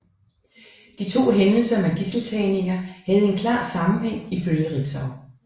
De to hændelser med gidseltagninger havde en klar sammenhæng ifølge Ritzau